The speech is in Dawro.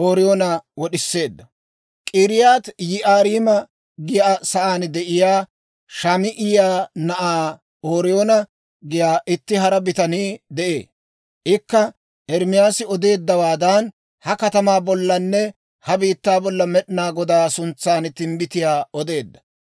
(K'iriyaati-Yi'aariima giyaa saan de'iyaa Shamaa'iyaa na'aa Ooriyoona giyaa itti hara bitanii de'ee; ikka Ermaasi odeeddawaadan, ha katamaa bollanne ha biittaa bolla Med'inaa Godaa suntsan timbbitiyaa odeedda.